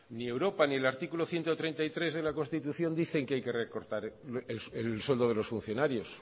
ni europa ni el artículo ciento treinta y tres de la constitución dicen que hay que recortar el sueldo de los funcionarios